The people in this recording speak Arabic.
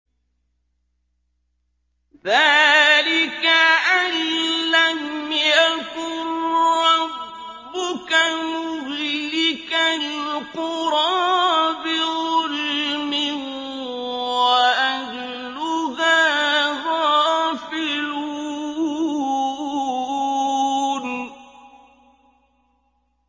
ذَٰلِكَ أَن لَّمْ يَكُن رَّبُّكَ مُهْلِكَ الْقُرَىٰ بِظُلْمٍ وَأَهْلُهَا غَافِلُونَ